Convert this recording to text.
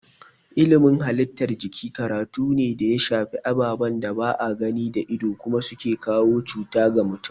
Ilimin halittar jiki karatu ne da ya shafi ababen da ba a gani da ido kuma su ke kawo cuta ga mutum.